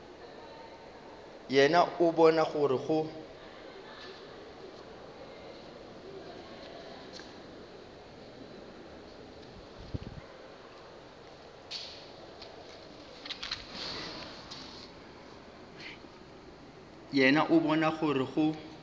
yena o bona gore go